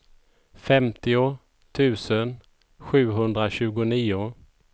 femtio tusen sjuhundratjugonio